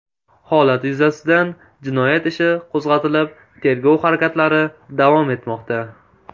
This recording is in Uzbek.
Holat yuzasidan jinoyat ishi qo‘zg‘atilib, tergov harakatlari davom etmoqda.